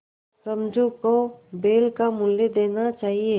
समझू को बैल का मूल्य देना चाहिए